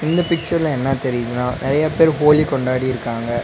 இந்த பிச்சர்ல என்ன தெரியுதுனா நெறைய பேர் ஹோலி கொண்டாடி இருக்காங்க.